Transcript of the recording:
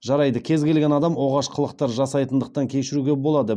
жарайды кез келген адам оғаш қылықтар жасайтындықтан кешіруге болады